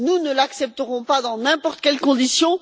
Nous ne l'accepterons pas dans n'importe quelles conditions.